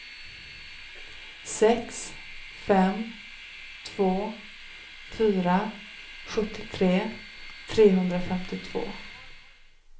sex fem två fyra sjuttiotre trehundrafemtiotvå